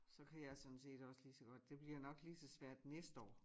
Så kan jeg sådan set også lige så godt det bliver nok lige så svært næste år